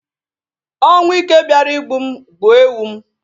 Ọnwụ ike bịara igbu m gbuo ewu m.